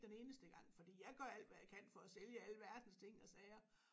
Den eneste gang fordi jeg gør alt hvad jeg kan for at sælge alverdens ting og sager